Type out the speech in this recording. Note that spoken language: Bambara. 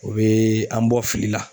O bɛ an bɔ fili la